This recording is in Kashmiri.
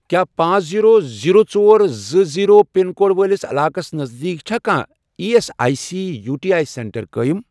کیٛاہ پانژھ، زیرو، زیرو، ژور، زٕ، زیرو، پِن کوڈ وٲلِس علاقس نزدیٖک چھا کانٛہہ E S I C U T I centre قٲیم؟